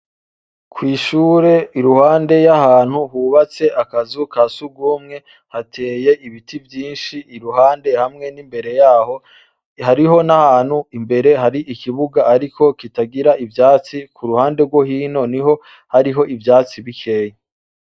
Kw'ishure iruhande yahantu hubatse akazi ka sugumwe, hateye ibiti vyinshi iruhande hamwe n'imbere yaho hariho n'ahantu imbere hari ikibuga ariko kitagira ivyatsi kuruhande rwo hino niho hari ivyatsi bikeyi.